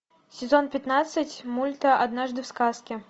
сезон пятнадцать мульта однажды в сказке